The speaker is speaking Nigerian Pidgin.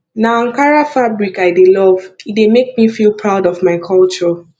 na ankara fabric i dey love e dey make me feel proud of my culture